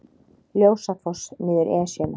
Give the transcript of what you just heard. Ljósafoss niður Esjuna